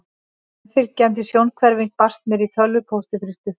Meðfylgjandi sjónhverfing barst mér í tölvupósti fyrir stuttu.